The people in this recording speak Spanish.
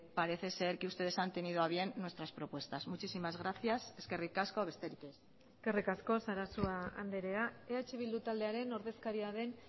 parece ser que ustedes han tenido a bien nuestras propuestas muchísimas gracias eskerrik asko besterik ez eskerrik asko sarasua andrea eh bildu taldearen ordezkaria den